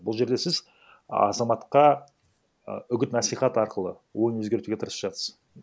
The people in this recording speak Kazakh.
бұл жерде сіз азаматқа і үгіт насихат арқылы ойын өзгертуге тырысып жатсыз